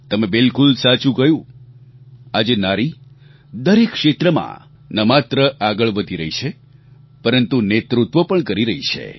તમે બિલકુલ સાચું કહ્યું આજે નારી દરેક ક્ષેત્રમાં ન માત્ર આગળ વધી રહી છે પરંતુ નેતૃત્વ પણ કરી રહી છે